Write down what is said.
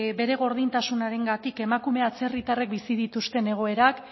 bere gordintasunarengatik emakume atzerritarrek bizi dituzten egoerak